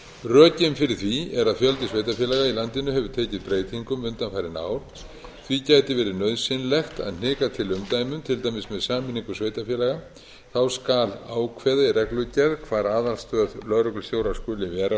rökin fyrir því er að fjöldi sveitarfélaga í landinu hefur tekið breytingum undanfarin ár því gæti verið nauðsynlegt að hnika til umdæmum til dæmis með sameiningu sveitarfélaga þá skal ákveðið í reglugerð hvar aðalstöð lögreglustjórans skuli vera